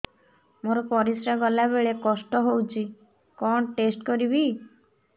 ମୋର ପରିସ୍ରା ଗଲାବେଳେ କଷ୍ଟ ହଉଚି କଣ ଟେଷ୍ଟ କରିବି